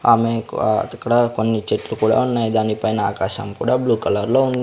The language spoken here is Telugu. ఆమె కు ఆ అక్కడ చెట్లు కుడా ఉన్నాయి దానిపైనా ఆకాశం కుడా బ్లూ కలర్ ఉన్ --